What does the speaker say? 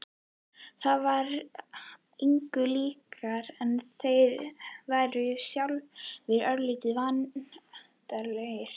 Það var engu líkara en þeir væru sjálfir örlítið vandræðalegir.